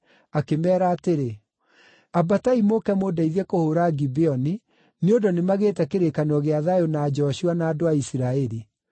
akĩmeera atĩrĩ, “Ambatai mũũke mũndeithie kũhũũra Gibeoni, nĩ ũndũ nĩmagĩte kĩrĩkanĩro gĩa thayũ na Joshua na andũ a Isiraeli.”